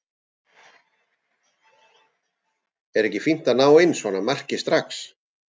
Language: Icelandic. Er ekki fínt að ná inn svona marki strax?